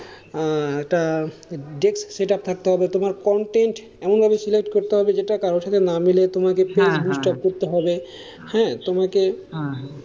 আহ একটা desk setup থাকতে হবে, তোমার content এমন ভাবে select করতে হবে যেটা কারো সাথে না মেলে, আমাকে boost up করতে হবে, হেঁ, তোমাকে,